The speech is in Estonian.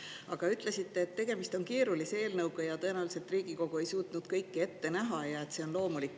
Aga te ütlesite, et tegemist on keerulise eelnõuga, tõenäoliselt Riigikogu ei suutnud kõike ette näha ja et see on loomulik.